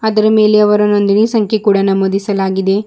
ಅದರ ಮೇಲೆ ಅವರ ನೊಂದಣಿ ಸಂಖ್ಯೆ ಕೂಡ ನಮೂದಿಸಲಾಗಿದೆ.